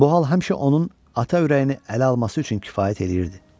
Bu hal həmişə onun ata ürəyini ələ alması üçün kifayət eləyirdi.